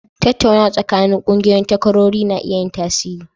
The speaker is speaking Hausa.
Tattaunawa tsakanin ƙungiyoyin takwarori na iya yin tasiri.